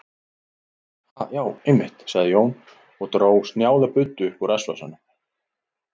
Ha, já, einmitt, sagði Jón og dró snjáða buddu upp úr rassvasanum.